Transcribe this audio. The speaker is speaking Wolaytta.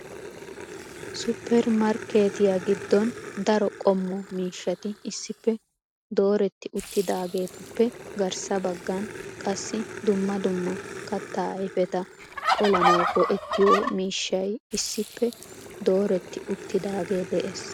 supper markketiyagiddon daro qommo miishshati issippe dooretti uttidaagetuppe garssa baggan qassi dumma dumma kattaa ayfeta qolanaw go''ettiyo miishshay issippe dooretti uttidaagee de'ees.